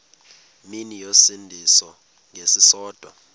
mini yosinda ngesisodwa